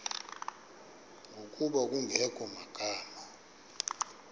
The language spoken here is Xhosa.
ngokuba kungekho magama